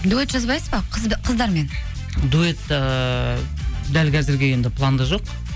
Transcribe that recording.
дуэт жазбайсыз ба қыздармен дуэт ыыы дәл қазірге енді планда жоқ